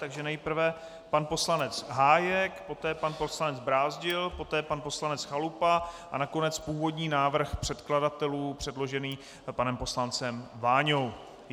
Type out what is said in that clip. Takže nejprve pan poslanec Hájek, poté pan poslanec Brázdil, poté pan poslanec Chalupa a nakonec původní návrh předkladatelů předložený panem poslancem Váňou.